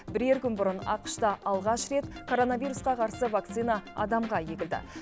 бірер күн бұрын ақш та алғаш рет коронавирусқа қарсы вакцина адамға егілді